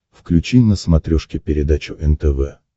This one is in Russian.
включи на смотрешке передачу нтв